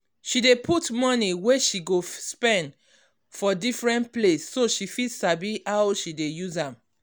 she dey put money wey she go spend for different place so she fit sabi how she dey use am.